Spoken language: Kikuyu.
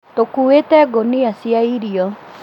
Tũkuĩte ngũnia cia irio